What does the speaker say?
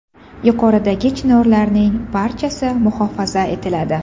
Yuqoridagi chinorlarning barchasi muhofaza etiladi.